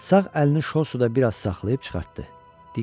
Sağ əlini şorsuda biraz saxlayıb çıxartdı.